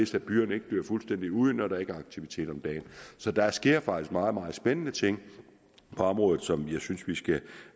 så byerne ikke dør fuldstændig ud når der ikke er aktivitet om dagen så der sker faktisk meget meget spændende ting på området som jeg synes vi skal